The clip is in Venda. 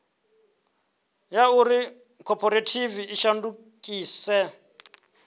ya uri khophorethivi i shandukise